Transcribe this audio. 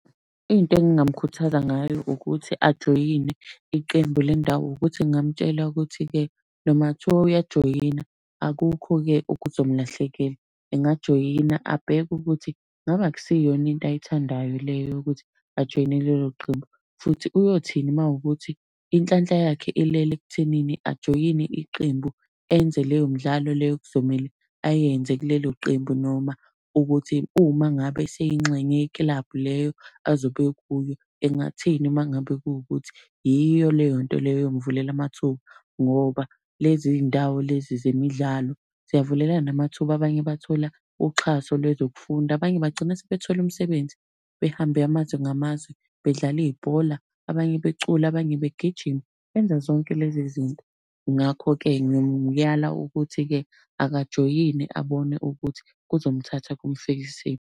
Into engingamukhuthaza ngayo ukuthi ajoyine iqembu lendawo ukuthi ngamtshela ukuthi-ke noma kungathiwa uyajoyina akukho-ke okuzomlahlekela. Engajoyina abheke ukuthi, ngabe akusiyona into ayithandayo le yokuthi ajoyine lelo qembu. Futhi uyothini uma ukuthi inhlanhla yakhe ilele ekuthenini ajoyine iqembu enze leyo midlalo leyo ekuzomele ayenze kulelo qembu, noma ukuthi uma ngabe eseyingxenye yekilabhu leyo azobe kuyo, engathini uma ngabe kuwukuthi iyo leyo nto leyo eyomuvulela amathuba. Ngoba lezi ndawo lezi zemidlalo ziyavulelana amathuba, abanye bathola uxhaso lwezokufunda, abanye bagcina sebethole umsebenzi, behambe amazwe ngamazwi bedlala ibhola, abanye becula abanye begijima, benza zonke lezi zinto. Ngakho-ke ngimuyala ukuthi-ke akajoyine abone ukuthi kuzomthatha kumfikisephi.